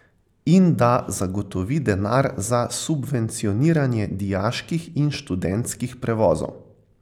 In da zagotovi denar za subvencioniranje dijaških in študentskih prevozov.